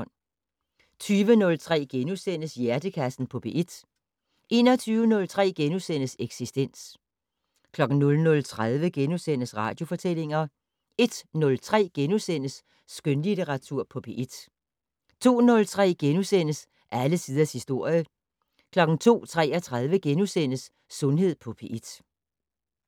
20:03: Hjernekassen på P1 * 21:03: Eksistens * 00:30: Radiofortællinger * 01:03: Skønlitteratur på P1 * 02:03: Alle tiders historie * 02:33: Sundhed på P1 *